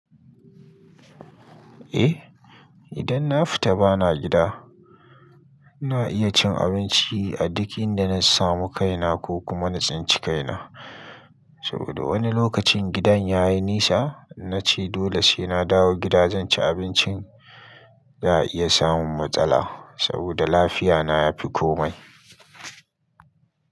Eh, idan na fita bana gida ina iya cin abinci a duk inda na samu kai na ko kuma na tsinci kai na. Saboda wani lokacin gidan yayi nisa, in nace dole sai na dawo gida zan ci abincin za'a iya samun matsala saboda lafiya na ya fi komai.